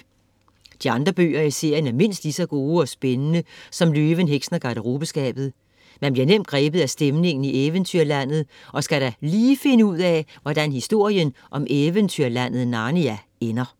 De andre bøger i serien er mindst lige så gode og spændende som Løven, Heksen og Garderobeskabet. Man bliver nemt grebet af stemningen i eventyrlandet og skal da lige finde ud af, hvordan historien om eventyrlandet Narnia ender.